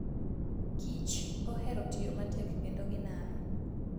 kich ohero tiyo matek kendo ginano.